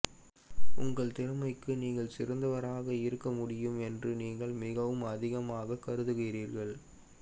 உங்கள் திறமைக்கு நீங்கள் சிறந்தவராக இருக்க முடியாது என்று நீங்கள் மிகவும் அதிகமாகக் கருதுகிறீர்கள்